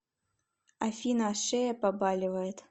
афина шея побаливает